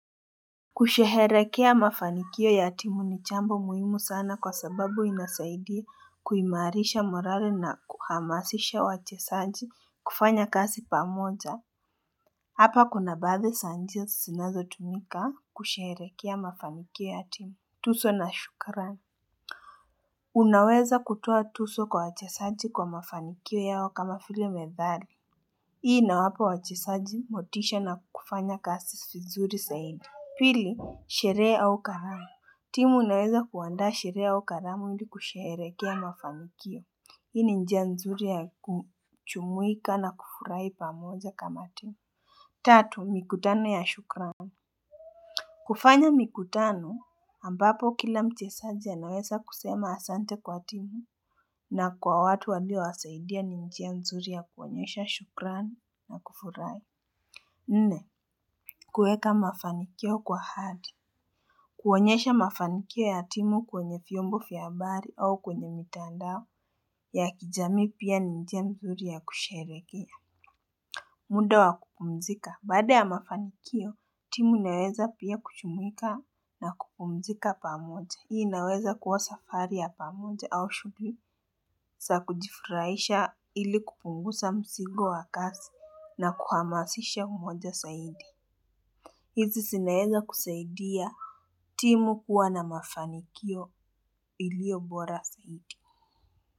Kusheherekea mafanikio ya timu ni chambo muhimu sana kwa sababu inasaidia kuimarisha morare na kuhamasisha wachesaji kufanya kasi pamoja. Hapa kuna baadhe sa njia sinazo tumika kusheherekea mafanikio ya timu. Tuso na shukarani. Unaweza kutoa tuso kwa wachesaji kwa mafanikio yao kama file methali. Hii inawapa wachesaji motisha na kufanya kasi fisuri zaidi. Pili, sheree au karamu. Timu inaweza kuwandaa sheree au karamu ili kusheherekea mafanikio. Hii ni njia nzuri ya kuchumuika na kufurai pamoja kama timu. Tatu mikutano ya shukran. Kufanya mikutano, ambapo kila mchesaji anaweza kusema asante kwa timu. Na kwa watu walio wasaidia ni njia nzuri ya kuonyesha shukran na kufurai. Nne, kueka mafanikio kwa hadi. Kuonyesha mafanikio ya timu kwenye fyombo fya abari au kwenye mitandao ya kijamii pia ni njia nzuri ya kusherekea. Muda wa kupumzika. Baada ya mafanikio, timu inaweza pia kuchumuika na kupumzika pamoja. Hii inaweza kuwa safari ya pamoja au shugli sa kujifuraisha ili kupungusa msigo wa kasi na kuhamasisha umoja saidi. Hizi sinaeza kusaidia timu kuwa na mafanikio ilio bora saidi.